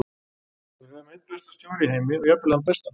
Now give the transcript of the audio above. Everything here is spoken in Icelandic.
Við höfum einn besta stjóra í heimi og jafnvel þann besta.